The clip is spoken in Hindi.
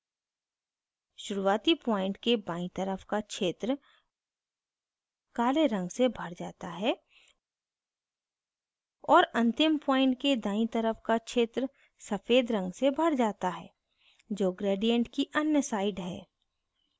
शुरूआती point के बायीं तरफ का क्षेत्र काले रंग से भर जाता है और अंतिम point के दायीं तरफ का क्षेत्र सफ़ेद रंग से भर जाता है जो gradient की अन्य side है